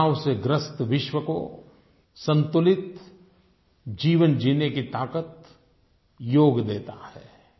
तनाव से ग्रस्त विश्व को संतुलित जीवन जीने की ताकत योग देता है